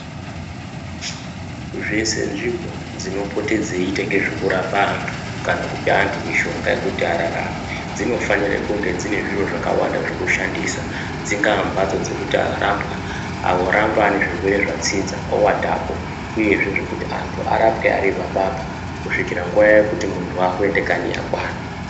Dzese nzvimbo dzinopote dzeitenge zvekurapa antu kana kupa antu mishonga yekuti ararame. Dzinofanire kunge dzine zviro zvakawanda zvekushandisa dzingaa mhatso dzekuti arapwa aramba ane zvirwere zvatsinza ovatapo, uyezve zvekuti antu arapwe ari apapo kusvikira nguva yekuti muntu vakuende kanyi yakwana.